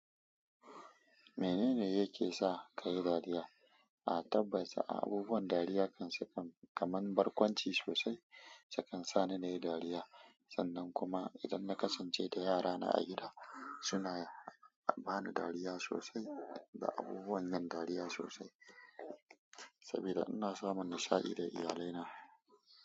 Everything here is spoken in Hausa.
Menene yake sa ka yi dariya? A tabbata abubuwan dariya kaman barkwanci sosai sukan sani na yi dariya. Sannan kuma idan na kasance da yarana a gida, suna ba ni dariya sosai da abubuwan yin dariya sosai. Sabida ina samun nishaɗi da iyalaina.